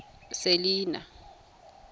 selinah